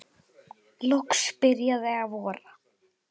Loks byrjaði að vora.